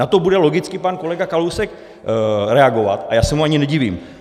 Na to bude logicky pan kolega Kalousek reagovat a já se mu ani nedivím.